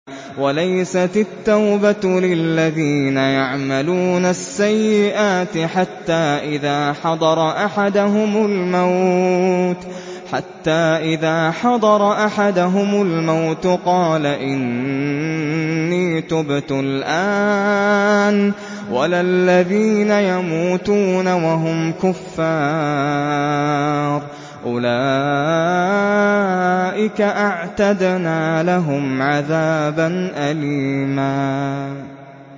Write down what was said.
وَلَيْسَتِ التَّوْبَةُ لِلَّذِينَ يَعْمَلُونَ السَّيِّئَاتِ حَتَّىٰ إِذَا حَضَرَ أَحَدَهُمُ الْمَوْتُ قَالَ إِنِّي تُبْتُ الْآنَ وَلَا الَّذِينَ يَمُوتُونَ وَهُمْ كُفَّارٌ ۚ أُولَٰئِكَ أَعْتَدْنَا لَهُمْ عَذَابًا أَلِيمًا